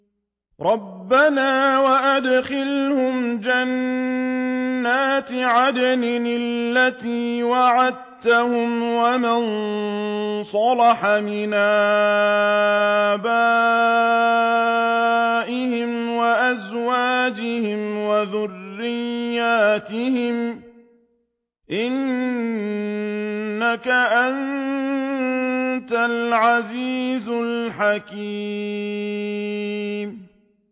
رَبَّنَا وَأَدْخِلْهُمْ جَنَّاتِ عَدْنٍ الَّتِي وَعَدتَّهُمْ وَمَن صَلَحَ مِنْ آبَائِهِمْ وَأَزْوَاجِهِمْ وَذُرِّيَّاتِهِمْ ۚ إِنَّكَ أَنتَ الْعَزِيزُ الْحَكِيمُ